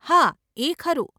હા, એ ખરું.